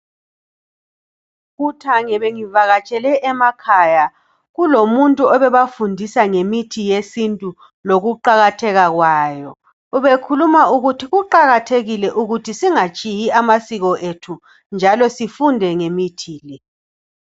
Kuthange bengivakatshele emakhaya kulomuntu obebafundisa ngemithi yesintu lokuqakatheka kwayo ubekhuluma ukuthi kuqakathekile ukuthi singatshiyi amasiko ethu njalo sifunde ngemithi le.